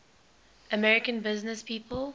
american businesspeople